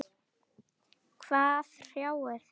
Hvað hrjáir þig?